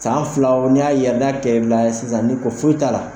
San filaw n'i y'a yɛrɛ da kɛ bila sisan n'u ko foyi t'a la